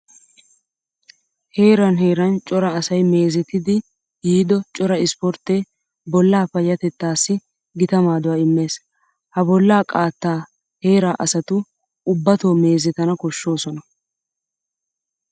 Heeran heeran cora asay meezetiiddi yiido coraa ispporttee bollaa payyatettaassi gita maaduwa immees. Ha bollaa qaattaa heeraa asatu ubbatoo meezetana koshshoosona.